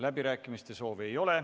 Läbirääkimiste soovi ei ole.